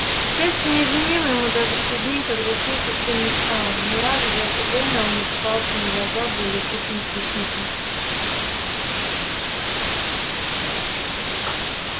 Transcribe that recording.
счастье не изменило ему даже в те дни когда сил совсем не стало ни разу за это время он не попался на глаза более крупным хищникам